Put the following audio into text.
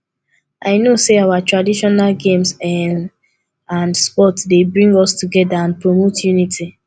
i know say our traditional games um and sports dey bring us together and promote unity